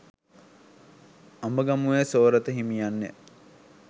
අඹගමුවේ සෝරත හිමියන් ය.